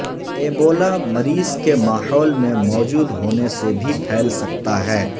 Ebola مریض کے ماحول میں موجود ہونے سے بھی پھیل سکتا ہے